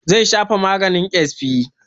Zai shafa maganin ƙyasfi.